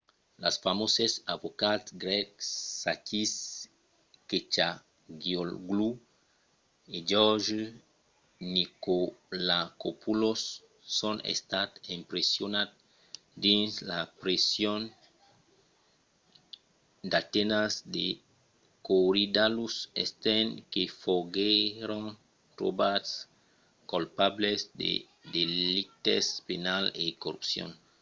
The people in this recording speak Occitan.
los famoses avocats grècs sakis kechagioglou e george nikolakopoulos son estats empresonats dins la preson d'atenas de korydallus estent que foguèron trobats colpables de delictes penals e corrupcion